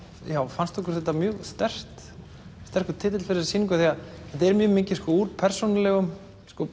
fannst okkur þetta mjög sterkur titill fyrir þessa sýningu því þetta er mjög mikið úr persónulegum